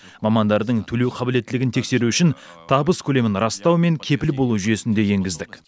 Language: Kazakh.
мамандардың төлеу қабілеттілігін тексеру үшін табыс көлемін растау мен кепіл болу жүйесін де енгіздік